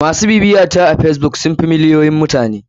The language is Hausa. MAsu bibiyata a facebook sun fi miliyoyin mutane.